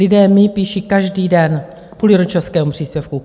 Lidé mi píší každý den kvůli rodičovskému příspěvku.